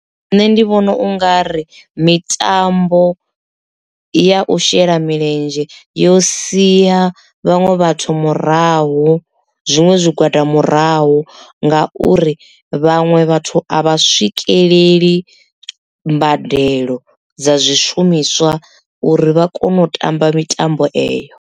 Nṋe ndi vhona u nga ri mitambo ya u shela milenzhe yo siya vhaṅwe vhathu murahu zwiṅwe zwigwada murahu nga uri vhaṅwe vhathu a vha swikeleli mbadelo dza zwishumiswa uri vha kone u tamba mitambo eyo.